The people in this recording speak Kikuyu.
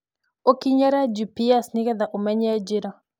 Ũkinyĩre g.p.s nĩgetha ũmenye njĩra